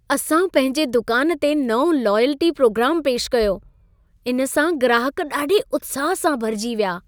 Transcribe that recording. असां पंहिंजे दुकान ते नओं लॉयल्टी प्रोग्रामु पेशि कयो। इन सां ग्राहक ॾाढे उत्साह सां भरिजी विया।